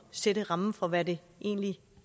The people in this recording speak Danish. sætte rammen for hvad det egentlig